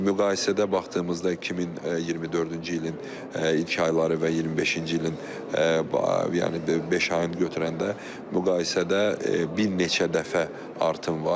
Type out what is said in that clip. Siz müqayisədə baxdığımızda 2024-cü ilin ilk ayları və 25-ci ilin, yəni beş ayın götürəndə müqayisədə bir neçə dəfə artım var.